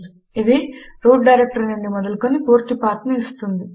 ఇది root directory నుండి మొదలుకొని పూర్తి పాత్ ను ఇస్తుంది